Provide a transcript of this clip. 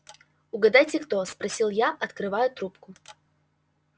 угадайте кто спросил я открывая трубку